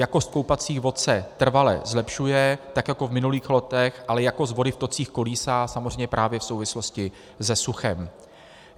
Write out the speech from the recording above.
Jakost koupacích vod se trvale zlepšuje, tak jako v minulých letech, ale jakost vody v tocích kolísá samozřejmě právě v souvislosti se suchem.